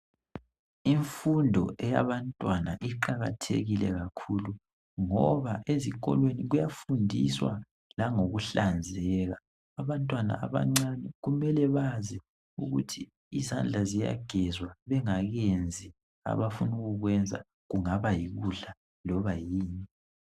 Imfundo eyabantwana iqakathekile kakhulu ngoba ezikolweni kuyafundiswa langokuhlanzeka abantwana abancane kumele bazi ukuthi izandla ziyagezwa bengakenzi labafuna ukukwenza kungaba yikudla loba yini